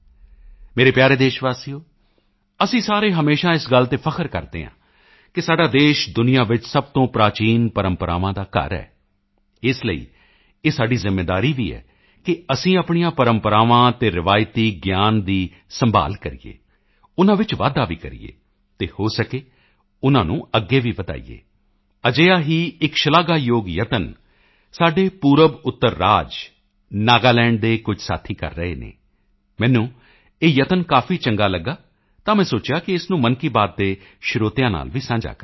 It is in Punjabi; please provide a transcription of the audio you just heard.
ਮੇਰੇ ਪਿਆਰੇ ਦੇਸ਼ਵਾਸੀਓ ਅਸੀਂ ਸਾਰੇ ਹਮੇਸ਼ਾ ਇਸ ਗੱਲ ਤੇ ਫ਼ਖਰ ਕਰਦੇ ਹਾਂ ਕਿ ਸਾਡਾ ਦੇਸ਼ ਦੁਨੀਆ ਵਿੱਚ ਸਭ ਤੋਂ ਪ੍ਰਾਚੀਨ ਪਰੰਪਰਾਵਾਂ ਦਾ ਘਰ ਹੈ ਇਸ ਲਈ ਇਹ ਸਾਡੀ ਜ਼ਿੰਮੇਵਾਰੀ ਵੀ ਹੈ ਕਿ ਅਸੀਂ ਆਪਣੀਆਂ ਪਰੰਪਰਾਵਾਂ ਅਤੇ ਰਵਾਇਤੀ ਗਿਆਨ ਦੀ ਸੰਭਾਲ਼ ਕਰੀਏ ਉਨ੍ਹਾਂ ਵਿੱਚ ਵਾਧਾ ਵੀ ਕਰੀਏ ਅਤੇ ਹੋ ਸਕੇ ਉਨ੍ਹਾਂ ਨੂੰ ਅੱਗੇ ਵੀ ਵਧਾਈਏ ਅਜਿਹਾ ਹੀ ਇੱਕ ਸ਼ਲਾਘਾਯੋਗ ਯਤਨ ਸਾਡੇ ਪੂਰਬਉੱਤਰ ਰਾਜ ਨਾਗਾਲੈਂਡ ਦੇ ਕੁਝ ਸਾਥੀ ਕਰ ਰਹੇ ਹਨ ਮੈਨੂੰ ਇਹ ਯਤਨ ਕਾਫੀ ਚੰਗਾ ਲੱਗਾ ਤਾਂ ਮੈਂ ਸੋਚਿਆ ਕਿ ਇਸ ਨੂੰ ਮਨ ਕੀ ਬਾਤ ਦੇ ਸਰੋਤਿਆਂ ਨਾਲ ਵੀ ਸਾਂਝਾ ਕਰਾਂ